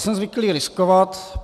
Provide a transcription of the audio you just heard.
Jsem zvyklý riskovat.